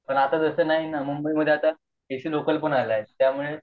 पण आता तास नाही न मुंबई मध्ये आता ए सी लोकल सुद्धा आहे